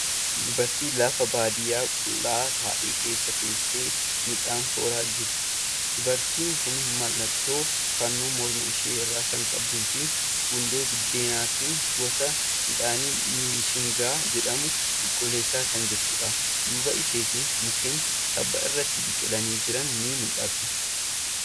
Dubartii lafa baadiyaa qullaa ta'e keessa teessee midhaan soraa jirtu. Dubartiin kun mallattoo fannoo morma ishee irraa kan qabduu fi gundoo biddeenaatiin gosa midhaanii bishingaa jedhamu qulqulleessaa kan jirtudha. Duuba isheetiin mukeen tabba irratti biqilanii jiran ni mul'atu.